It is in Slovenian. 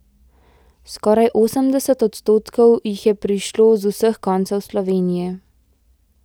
Skoraj osemdeset odstotkov jih je prišlo z vseh koncev Slovenije.